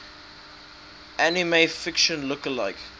anime fiction lookalike